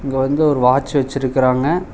இங்க வந்து ஒரு வாட்ச் வெச்சிருக்குறாங்க.